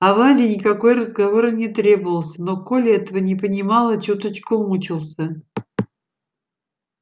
а вале никакой разговор и не требовался но коля этого не понимал и чуточку мучился